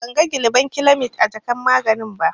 Ban ga gilabankilamid a jakar maganin ba.